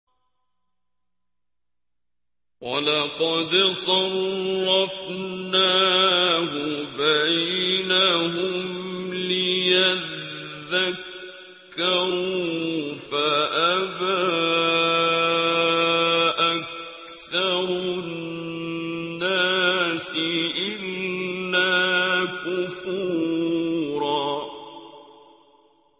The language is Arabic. وَلَقَدْ صَرَّفْنَاهُ بَيْنَهُمْ لِيَذَّكَّرُوا فَأَبَىٰ أَكْثَرُ النَّاسِ إِلَّا كُفُورًا